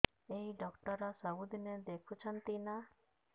ଏଇ ଡ଼ାକ୍ତର ସବୁଦିନେ ଦେଖୁଛନ୍ତି ନା